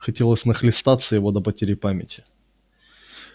хотелось нахлестаться его до потери памяти